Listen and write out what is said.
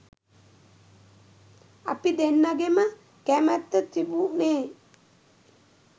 අපි දෙන්නගෙම කැමැත්ත තිබුණේ